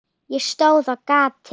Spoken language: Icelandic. Ég stóð á gati.